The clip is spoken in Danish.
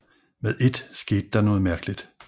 Med et skete der noget mærkeligt